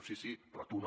sí sí però tu no